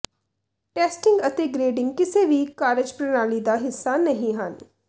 testing ਅਤੇ grading ਕਿਸੇ ਵੀ ਕਾਰਜਪ੍ਰਣਾਲੀ ਦਾ ਹਿੱਸਾ ਨਹੀਂ ਹਨ